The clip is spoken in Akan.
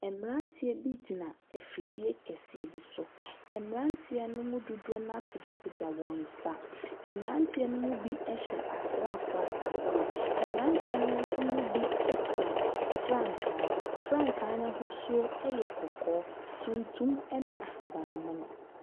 Mmeranteɛ bi gyina afidie kɛseɛ bi so. Mmeranteɛ no mu dodoɔ no ara apagyapagya wɔn nsa. Mmeranteɛ no mu bi hyɛ asraafoɔ atadeɛ. Mmeranteɛ no nso mu bi kura frankaa. Frankaa no ahosuo yɛ kɔkɔɔ, tuntum ne ahaban mono.